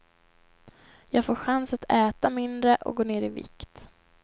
Jag får chans att äta mindre och gå ner i vikt.